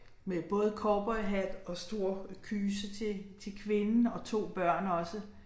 Med både cowboyhat og stor kyse til til kvinden og 2 børn også